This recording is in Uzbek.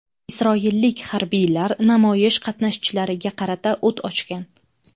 Isroillik harbiylar namoyish qatnashchilariga qarata o‘t ochgan.